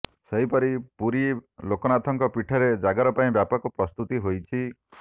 ସେହିପରି ପୁରୀ ଲୋକନାଥଙ୍କ ପୀଠରେ ଜାଗର ପାଇଁ ବ୍ୟାପକ ପ୍ରସ୍ତୁତି ହୋଇଛି